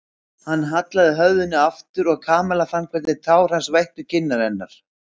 Hann hallaði höfðinu aftur og Kamilla fann hvernig tár hans vættu kinnar hennar.